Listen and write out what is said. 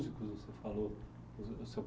Que você falou...